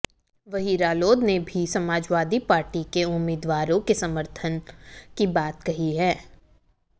वहीं रालोद ने भी समाजवादी पार्टी के उम्मीदवारों को समर्थन की बात कही है